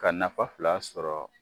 Ka nafa fila sɔrɔ